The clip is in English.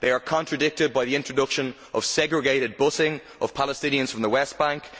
They are contradicted by the introduction of segregated bussing of Palestinians from the West Bank.